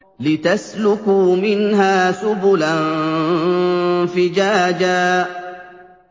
لِّتَسْلُكُوا مِنْهَا سُبُلًا فِجَاجًا